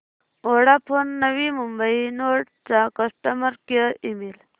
Vodafone Navi Mumbai node चा customer care email